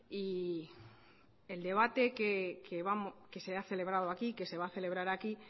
y el debate que se ha celebrado aquí que se va a celebrar aquí